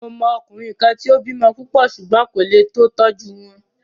Mo mọ ọkùnrin kan tí o bímọ púpọ̀ ṣùgbón kò lé tó tọ́jú wọn.